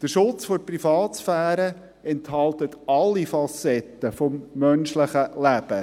Der Schutz der Privatsphäre enthält alle Facetten des menschlichen Lebens.